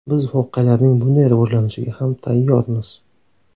Biz voqealarning bunday rivojlanishiga ham tayyormiz.